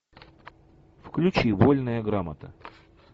включи вольная грамота